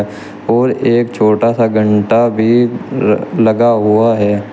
और एक छोटा सा घंटा भी लगा हुआ है।